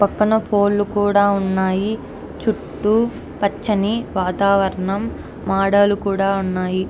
పక్కన కూడా ఉన్నాయి చుట్టూ పచ్చని వాతావరణం మాడలు కూడా ఉన్నాయి.